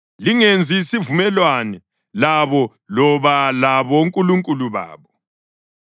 Lingenzi isivumelwano labo loba labonkulunkulu babo.